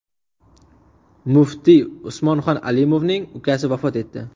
Muftiy Usmonxon Alimovning ukasi vafot etdi.